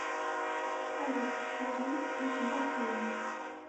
салют зажги свет в бассейне